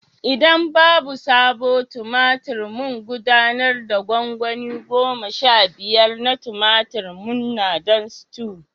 Idan babu sabo tumatur mun gudanar da gwangwani goma sha biyar na tumatir manna don stew